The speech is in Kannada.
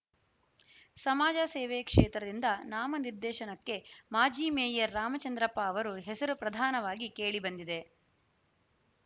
ಸಮಾಜ ಸೇವೆ ಕ್ಷೇತ್ರದಿಂದ ನಾಮನಿರ್ದೇಶನಕ್ಕೆ ಮಾಜಿ ಮೇಯರ್‌ ರಾಮಚಂದ್ರಪ್ಪ ಅವರು ಹೆಸರು ಪ್ರಧಾನವಾಗಿ ಕೇಳಿ ಬಂದಿದೆ